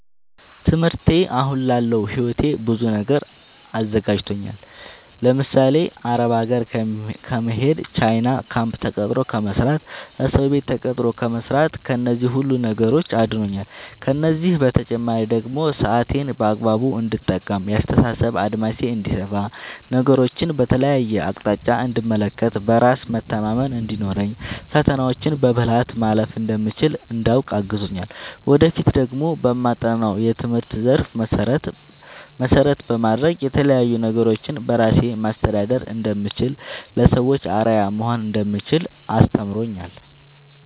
ትምህርቴ አሁን ላለው ህይወቴ በብዙ ነገር አዘጋጅቶኛል። ለምሳሌ፦ አረብ ሀገር ከመሄድ፣ ቻይና ካምፕ ተቀጥሮ ከመስራት፣ እሰው ቤት ተቀጥሮ ከመስራት ከነዚህ ሁሉ ነገሮች አድኖኛል። ከእነዚህ በተጨማሪ ደግሞ ሰአቴን በአግባቡ እንድጠቀም፣ የአስተሳሰብ አድማሴ እንዲሰፋ፣ ነገሮችን በተለያየ አቅጣጫ እንድመለከት፣ በራስ መተማመን እንዲኖረኝ፣ ፈተናዎችን በብልሀት ማለፍ እንደምችል እንዳውቅ አግዞኛል። ወደፊት ደግሞ በማጠናው የትምህርት ዘርፍ መሰረት በማድረግ የተለያዪ ነገሮችን በራሴ ማስተዳደር እንደምችል፣ ለሰዎች አርአያ መሆን እንደምችል አስተምሮኛል።